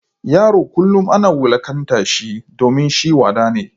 Yaron kullum ana wulakanta shi domin shi wada ne.